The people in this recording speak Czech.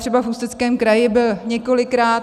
Třeba v Ústeckém kraji byl několikrát.